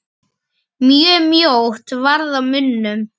Mjög mjótt varð á munum.